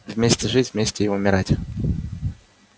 вместе жить вместе и умирать